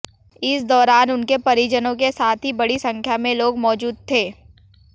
इस दौरान उनके परिजनों के साथ ही बड़ी संख्या में लोग मौजूद थे